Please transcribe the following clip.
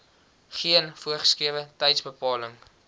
geen voorgeskrewe tydsbepaling